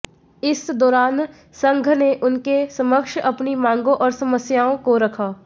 इस दौरान संघ ने उनके समक्ष अपनी मांगों और समस्याआें को रखा